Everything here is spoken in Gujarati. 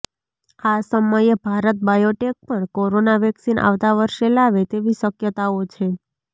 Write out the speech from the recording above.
આ સમયે ભારત બાયોટેક પણ કોરોના વેક્સીન આવતા વર્ષે લાવે તેવી શક્યતાઓ છે